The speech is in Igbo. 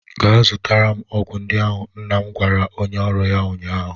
Gaa zụtara m ọgwụ ndị ahụ! nna m gwara onye ọrụ ya ụnyaahụ.